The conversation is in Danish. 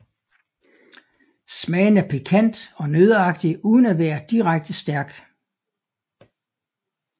Smagen er pikant og nøddeagtig uden at være direkte stærk